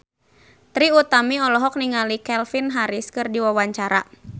Trie Utami olohok ningali Calvin Harris keur diwawancara